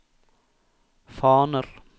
faner